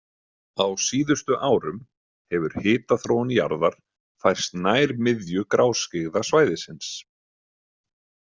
Á síðustu árum hefur hitaþróun jarðar færst nær miðju gráskyggða svæðisins.